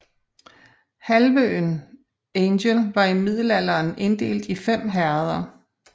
Halvøen Angel var i middelalderen inddelt i fem herreder